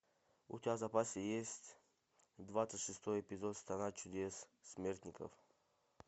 у тебя в запасе есть двадцать шестой эпизод страна чудес смертников